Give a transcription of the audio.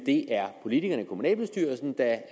det er politikerne i kommunalbestyrelsen der